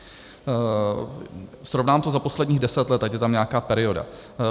Srovnám to za posledních deset let, ať je tam nějaká perioda.